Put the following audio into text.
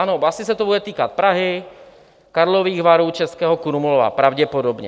Ano, asi se to bude týkat Prahy, Karlových Varů, Českého Krumlova pravděpodobně.